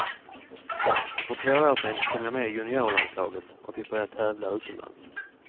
Och för två år sen kom jag med i juniorlandslaget och fick börja tävla utomlands.